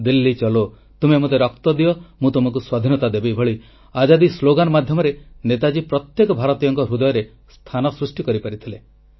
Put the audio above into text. ଦିଲ୍ଲୀ ଚଲୋ ତୁମେ ମୋତେ ରକ୍ତ ଦିଅ ମୁଁ ତୁମକୁ ସ୍ୱାଧୀନତା ଦେବି ଭଳି ଆଜାଦୀ ସ୍ଲୋଗାନ୍ ମାଧ୍ୟମରେ ନେତାଜୀ ପ୍ରତ୍ୟେକ ଭାରତୀୟଙ୍କ ହୃଦୟରେ ସ୍ଥାନ ସୃଷ୍ଟି କରିପାରିଥିଲେ